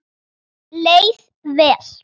Leið vel.